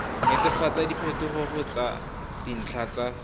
netefatsa diphetogo tsa dintlha tsa